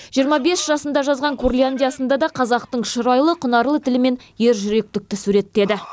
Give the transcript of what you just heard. жиырма бес жасында жазған курляндиясын да қазақтың шұрайлы құнарлы тілімен ержүректікті суреттеді